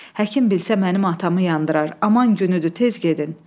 Həkim bilsə mənim atamı yandırar, aman günüdür, tez gedin.